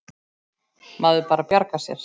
Maður bara bjargar sér.